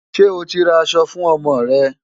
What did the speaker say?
Ṣé o ti ra aṣọ fún ọmọ rẹ?